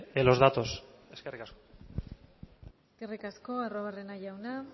en los datos eskerrik asko eskerrik asko arruabarrena jauna